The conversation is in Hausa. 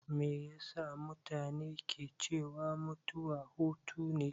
Me yasa mutane ke cewa mutuwa hutune?